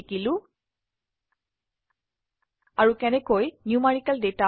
শিকিলো আৰু কেনেকৈ নিউমেৰিকেল ডাটা